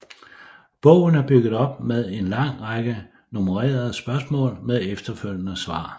Bogen er bygget op med en lang række nummererede spørgsmål med efterfølgende svar